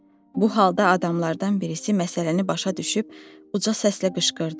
Bu halda adamlardan birisi məsələni başa düşüb uca səslə qışqırdı.